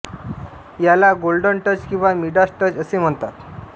याला golden touch किंवा Midas touch असे म्हणतात